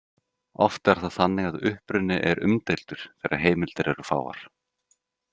Oft er það þannig að uppruni er umdeildur þegar heimildir eru fáar.